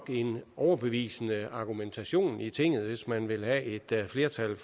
en overbevisende argumentation i tinget hvis man vil have et flertal